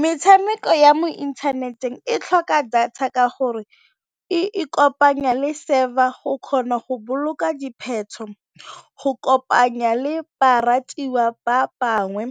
Metshameko ya mo inthaneteng e tlhoka data ka gore e kopanya le server go kgona go boloka go kopanya le baratuwa ba bangwe